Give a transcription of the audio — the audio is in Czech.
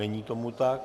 Není tomu tak.